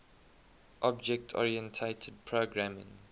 object oriented programming